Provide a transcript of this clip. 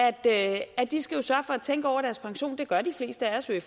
at de skal sørge for at tænke over deres pension det gør de fleste af os jo i